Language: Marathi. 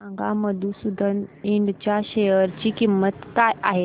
सांगा मधुसूदन इंड च्या शेअर ची किंमत काय आहे